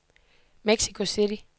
Mexico City